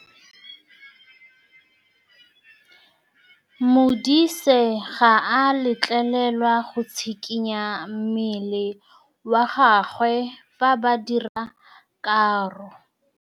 Modise ga a letlelelwa go tshikinya mmele wa gagwe fa ba dira karô.